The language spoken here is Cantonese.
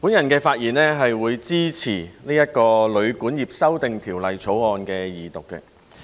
我發言支持《2018年旅館業條例草案》的二讀。